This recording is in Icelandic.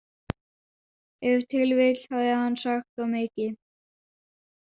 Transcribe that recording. Ef til vill hafði hann sagt of mikið.